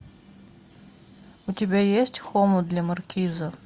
у тебя есть хомут для маркиза